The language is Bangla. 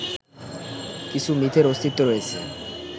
কিছু মিথের অস্তিত্ব রয়েছে